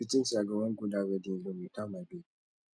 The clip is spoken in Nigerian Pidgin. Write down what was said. you think say i go wan go that wedding alone without my babe